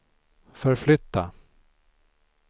förflytta